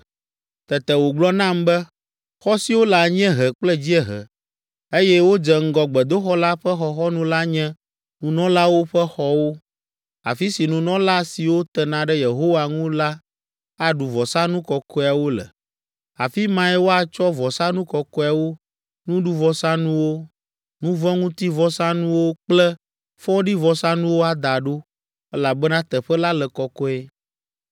Tete wògblɔ nam be, “Xɔ siwo le anyiehe kple dziehe, eye wodze ŋgɔ gbedoxɔ la ƒe xɔxɔnu la nye nunɔlawo ƒe xɔwo, afi si nunɔla siwo tena ɖe Yehowa ŋu la aɖu vɔsanu kɔkɔeawo le. Afi mae woatsɔ vɔsanu kɔkɔewo, nuɖuvɔsanuwo, nu vɔ̃ ŋuti vɔsanuwo kple fɔɖivɔsanuwo ada ɖo, elabena teƒe la le kɔkɔe.